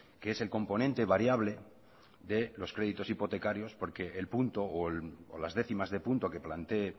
que es el componente variable de los créditos hipotecarios porque el punto o las décimas de punto que plantee